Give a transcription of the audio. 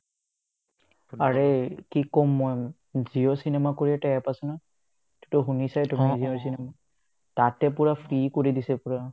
আৰে কি ক'ম মই জিঅ' cinema কৰি এটা App আছে নহয় সেটোতো শুনিছায়ে তুমি জিঅ' cinema তাতে পূৰা free কৰি দিছে পূৰা